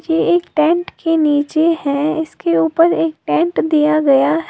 ये एक टेंट के नीचे है इसके ऊपर एक टेंट दिया गया है।